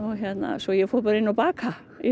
svo ég fór bara inn að baka í